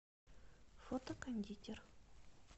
фото кондитер